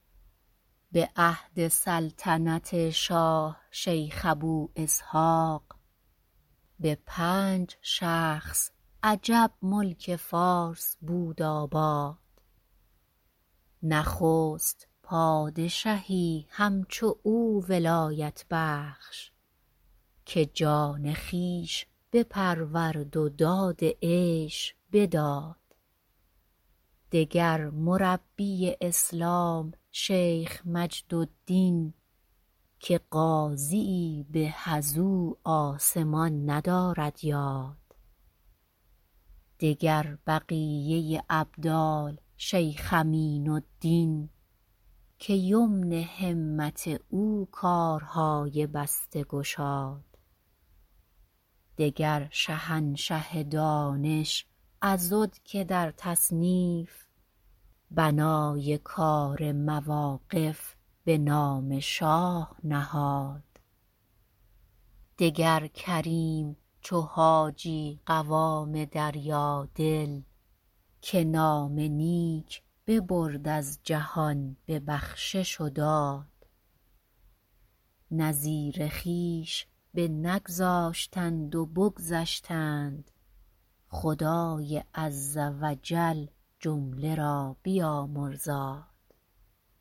به عهد سلطنت شاه شیخ ابواسحاق به پنج شخص عجب ملک فارس بود آباد نخست پادشهی همچو او ولایت بخش که جان خویش بپرورد و داد عیش بداد دگر مربی اسلام شیخ مجدالدین که قاضی ای به از او آسمان ندارد یاد دگر بقیه ابدال شیخ امین الدین که یمن همت او کارهای بسته گشاد دگر شهنشه دانش عضد که در تصنیف بنای کار مواقف به نام شاه نهاد دگر کریم چو حاجی قوام دریادل که نام نیک ببرد از جهان به بخشش و داد نظیر خویش بنگذاشتند و بگذشتند خدای عز و جل جمله را بیامرزاد